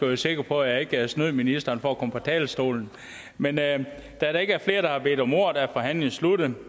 være sikker på at jeg ikke snød ministeren for at komme på talerstolen men da der ikke er flere der har bedt om ordet er forhandlingen sluttet